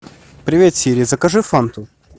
привет сири закажи фанту